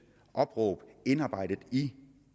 opråb indarbejdet i